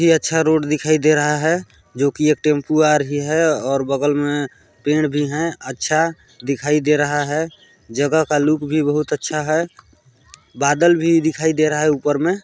बहोत ही अच्छा रोड दिखाई दे रहा है जो कि एक टेम्पो आ रही है और बगल में पेड़ भी है अच्छा दिखाई दे रहा है जगह का लुक भी बहोत अच्छा है बादल भी दिखाई दे रहा है ऊपर में--